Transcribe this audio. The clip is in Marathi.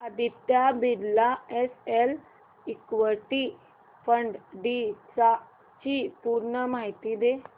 Aditya Birla SL equity fund D ची पूर्ण माहिती दे